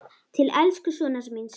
Til elsku sonar míns.